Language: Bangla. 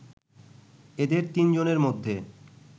এদের তিন জনের মধ্যে